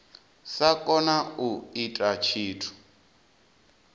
sa kona u ita tshithu